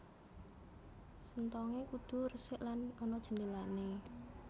Senthongé kudu resik lan ana jendhélané